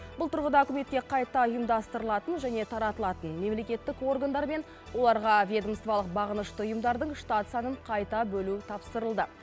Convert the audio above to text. бұл тұрғыда үкіметке қайта ұйымдастырылатын және таратылатын мемлекеттік органдар мен оларға ведомстволық бағынышты ұйымдардың штат санын қайта бөлу тапсырылды